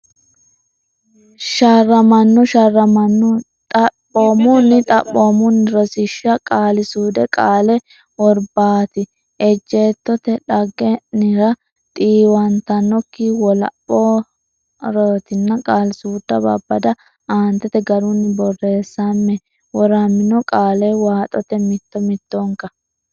sharr amanno sharramanno xaph oomunni xaphoomunni Rosiishsha Qaali suude Qaale worb aati ejjeetto te dhagge nnire xiiw antannokki wolaph oraatina Qaali suuda Babbada Aantete garunni borreessame woramino qaale waaxote mitto mittonka.